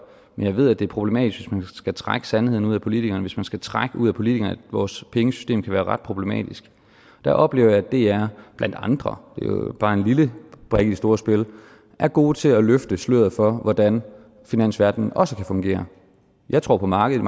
men jeg ved at det er problematisk hvis man skal trække sandheden ud af politikerne hvis man skal trække ud af politikerne at vores pengesystem kan være ret problematisk der oplever jeg at dr blandt andre det er jo bare en lille brik i det store spil er gode til at løfte sløret for hvordan finansverdenen også kan fungere jeg tror på markedet